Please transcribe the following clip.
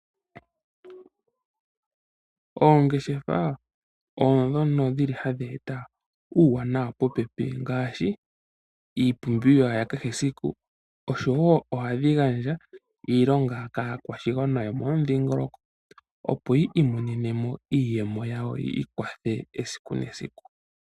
Oongeshefa odhono dhili hadhi eta uuwanawa popepi ngaashi iipumbiwa yakehe esiku osho woo ohadhi gandja iilonga kaakwashigwana yopomudhingoloko opo yiimonenemo iiyemo yawo yiikwathe esiku nesiku.